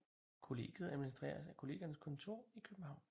Kollegiet administreres af Kollegiernes Kontor I København